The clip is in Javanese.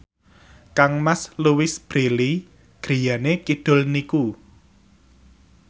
kangmas Louise Brealey griyane kidul niku